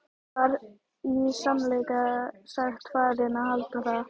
Ég var í sannleika sagt farinn að halda það.